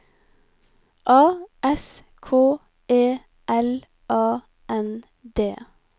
A S K E L A N D